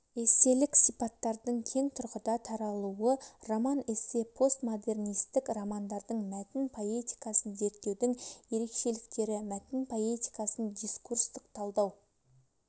эсселік сипаттардың кең тұрғыда таралуы роман-эссе постмодернистік романдардың мәтін поэтикасын зерттеудің ерекшеліктері мәтін поэтикасын дискурстық талдау